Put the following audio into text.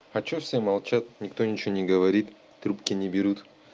а что все молчат никто ничего не говорит трубки не берут